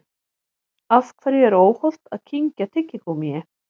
Af hverju er óhollt að kyngja tyggigúmmíi?